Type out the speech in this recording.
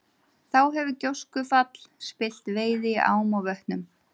Þá hefur gjóskufall spillt veiði í ám og vötnum.